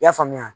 I y'a faamuya